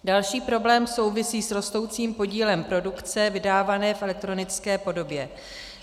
Další problém souvisí s rostoucím podílem produkce vydávané v elektronické podobě.